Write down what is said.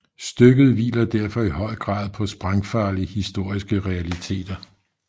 Stykket hviler derfor i høj grad på sprængfarlige historiske realiteter